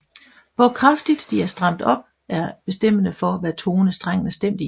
Hvor kraftigt de er stramt op er bestemmende for hvad tone strengen er stemt i